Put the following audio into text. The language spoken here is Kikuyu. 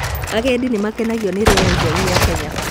Agendi nĩmakenagio nĩ rĩera itheru rĩa Kenya